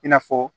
I n'a fɔ